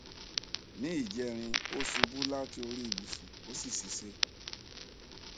ní ìjẹrin ó ṣubú láti orí ìbùsùn ó sì ṣìṣe